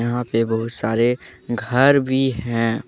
यहां पे बहुत सारे घर भी हैं ।